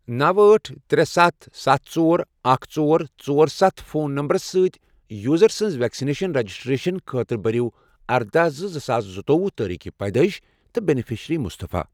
نوَ، أٹھ، ترے، ستھَ، ستھ، ژور، اکھ، ژۄر، ژۄر، ستھ فون نمبرٕ سۭتۍ یوزر سٕنٛز ویکسیٖن رجسٹریشن خٲطرٕ بٔرِو اردَہ زٕ زٕساس زٕتووُہ تٲریٖخ پیدٲئش تہٕ بینِفیشرِی مُصطفیٰ ۔